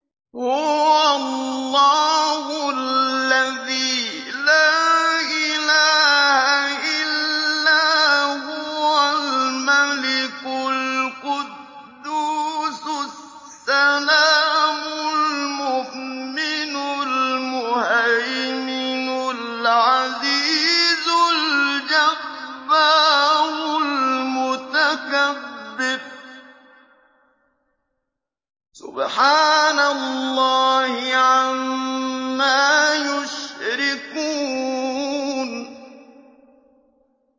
هُوَ اللَّهُ الَّذِي لَا إِلَٰهَ إِلَّا هُوَ الْمَلِكُ الْقُدُّوسُ السَّلَامُ الْمُؤْمِنُ الْمُهَيْمِنُ الْعَزِيزُ الْجَبَّارُ الْمُتَكَبِّرُ ۚ سُبْحَانَ اللَّهِ عَمَّا يُشْرِكُونَ